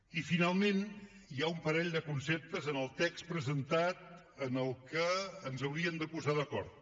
i finalment hi ha un parell de conceptes en el text presentat en què ens hauríem de posar d’acord